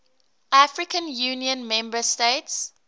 african union member states